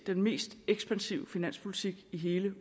den mest ekspansive finanspolitik i hele